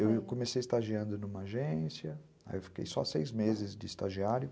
Eu comecei estagiando numa agência, aí eu fiquei só seis meses de estagiário.